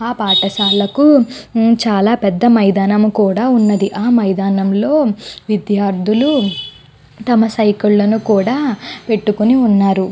ఆ పతశాల్లకు పేద మైదానం కూడా న్నది. ఆ మైదానం లో కొంత మంది విద్రతుల్లు వాల సైకిల్ లను పెటుకొని వున్నారు.